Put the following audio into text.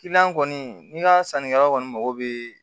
kɔni n'i ka sannikɛlaw kɔni mago bɛ